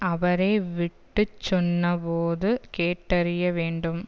அவரே விட்டு சொன்னபோது கேட்டறிய வேண்டும்